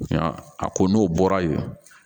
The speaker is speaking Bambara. a ko n'o bɔra yen